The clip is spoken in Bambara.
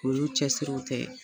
Olu cɛsiriw tɛ.